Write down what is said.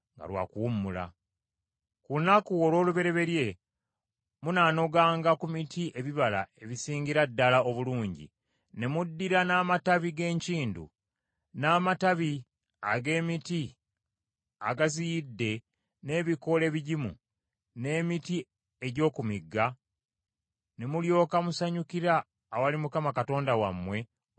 Ku lunaku olw’olubereberye munaanoganga ku miti ebibala ebisingira ddala obulungi ne muddira n’amatabi g’enkindu, n’amatabi ag’emiti agaziyidde n’ebikoola ebigimu, n’emiti egy’oku migga, ne mulyoka musanyukira awali Mukama Katonda wammwe okumala ennaku musanvu.